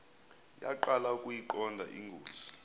yaqala ukuyiqonda ingozi